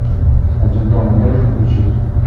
один дома можешь включить